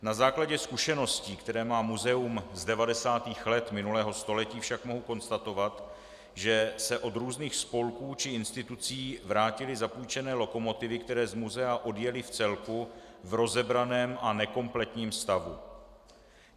Na základě zkušeností, které má muzeum z 90. let minulého století, však mohu konstatovat, že se od různých spolků či institucí vrátily zapůjčené lokomotivy, které z muzea odjely v celku, v rozebraném a nekompletním stavu.